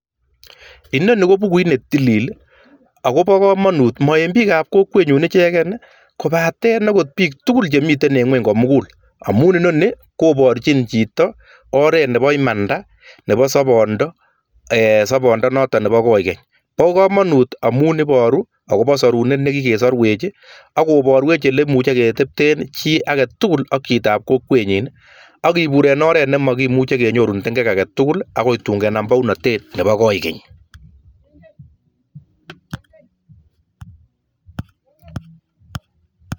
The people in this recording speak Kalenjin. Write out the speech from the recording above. Inoni ko bukuuit ne tilil, akobo kamangut ma eng biikab kokwenyun ichegen kobaten en biik tugul chemiten en ngweny komugul amun inoini kobarchin chito oret nebo imanda, nebo soboondo, eee sobondo noto nebo koikeny, bo kamangut amun iboru ako sorunet nekikesarwech ako boruech ole kimuche ketepten chi agetugul ak chitab kokwenyiin ak kibuur en oret nemakimuche kenyoru tengek agetugul akoi kenam bounatet nebo koikeny.